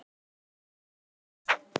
Þá það.